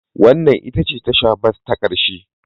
Wannan ita ce tasha bas ta ƙarshe